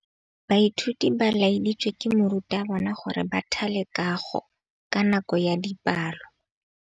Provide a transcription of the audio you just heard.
Baithuti ba laeditswe ke morutabana gore ba thale kagô ka nako ya dipalô.